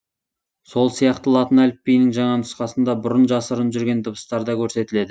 сол сияқты латын әліпбиінің жаңа нұсқасында бұрын жасырын жүрген дыбыстар да көрсетіледі